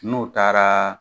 N'o taara